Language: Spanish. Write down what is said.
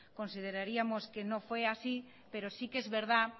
consideraríamos que no fue así pero si que es verdad